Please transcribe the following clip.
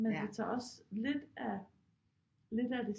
Men det tager også lidt af lidt af det